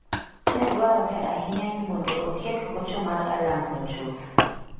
Ne dwarore ahinya ni mondo otiek gocho mar alarmno chuth.